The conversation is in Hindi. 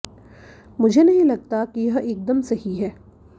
मुझे नहीं लगता कि यह एकदम सही है